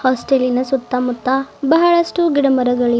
ಹಾಸ್ಟೇಲಿನ ಸುತ್ತಮುತ್ತ ಬಹಳಷ್ಟು ಗಿಡ ಮರಗಳಿವೆ.